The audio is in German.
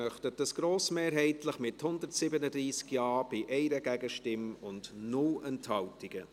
Sie möchten dies grossmehrheitlich mit 137 Ja-Stimmen, bei 1 Gegenstimme und 0 Enthaltungen.